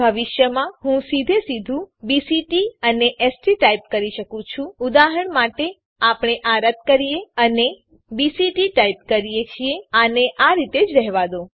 ભવિષ્યમાં હું સીધે સીધું બીસીટી અને એસટી ટાઈપ કરી શકું છું ઉદાહરણ માટે આપણે આ રદ્દ કરીએ છીએ અને બીસીટી ટાઈપ કરીએ છીએ આને આ રીતે જ રહેવા દો